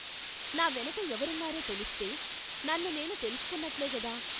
నా వెనక ఎవరున్నారో తెలిస్తే, నన్ను నేను తెలుసుకున్నట్లే గదా।